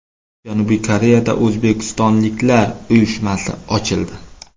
Janubiy Koreyada o‘zbekistonliklar uyushmasi ochildi.